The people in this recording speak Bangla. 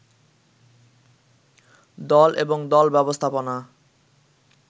দল এবং দল ব্যবস্থাপনা